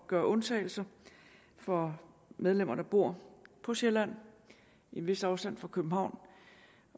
gøre undtagelser for medlemmer der bor på sjælland i en vis afstand fra københavn